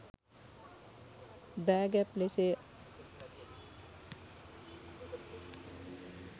දාගැබ් ලෙසය.